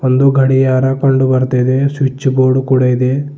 ಒಂದು ಗಡಿಯಾರ ಕಂಡು ಬರುತ್ತಿದೆ ಸ್ವಿಚ್ ಬೋರ್ಡ್ ಕೂಡ ಇದೆ.